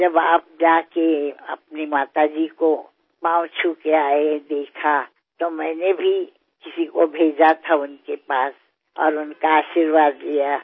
जेव्हा तुम्ही जाऊन तुमच्या आईचे आशीर्वाद घेतले हे मी पाहिले तेव्हा मी सुद्धा कोणाला तरी त्यांच्याकडे पाठवून त्यांचे आशिर्वाद घेतले